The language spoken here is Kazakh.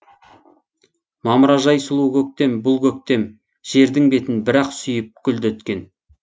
мамыражай сұлу көктем бұл көктем жердің бетін бір ақ сүйіп гүлдеткен